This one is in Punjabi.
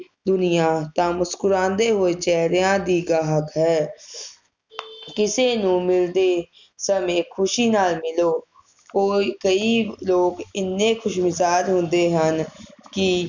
ਦੁਨੀਆਂ ਤਾ ਮੁਸੱਕੁਰਾਂਦੇ ਹੋਏ ਚੇਹਰਿਆਂ ਦੀ ਗਾਹਕ ਹੈ ਕਿਸੇ ਨੂੰ ਮਿਲਦੇ ਸਮੇ ਖੁਸ਼ੀ ਨਾਲ ਮਿਲੋ ਕੋਈ ਕਈ ਲੋਕ ਇੰਨੇ ਖੁਸ਼ਮਿਜ਼ਾਜ਼ ਹੁੰਦੇ ਹਨ ਕਿ